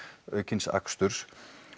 aukins aksturs